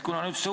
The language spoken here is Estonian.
Aitäh!